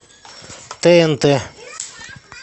тнт